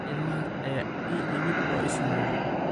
Ilmahaas ayaa ii yimid oo i salaamay